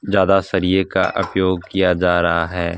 ज्यादा सरिये का उपयोग किया जा रहा है।